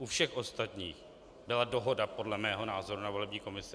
U všech ostatních byla dohoda podle mého názoru na volební komisi.